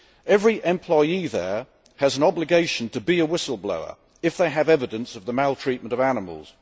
Every employee there has an obligation to be a whistleblower if they have evidence of the maltreatment of animals.